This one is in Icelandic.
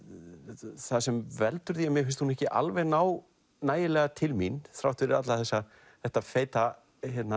það sem veldur því að mér finnst bókin ekki alveg ná nægilega til mín þrátt fyrir þetta feita